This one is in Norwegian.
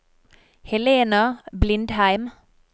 Helena Blindheim